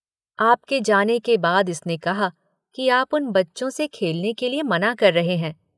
आपके जाने के बाद इसने कहा कि आप उन बच्चों से खेलने के लिए मना कर रहे हैं।